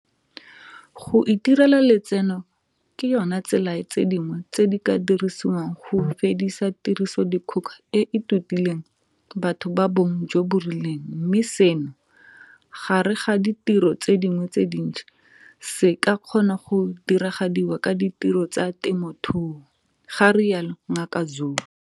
Go itirela letseno ke yona tsela ya tse dingwe tse di ka dirisiwang go fedisa tirisodikgoka e e totileng batho ba bong jo bo rileng mme seno, gare ga ditiro tse dingwe tse dintsi, se ka kgona go diragadiwa ka ditiro tsa temothuo, ga rialo Ngaka Zulu.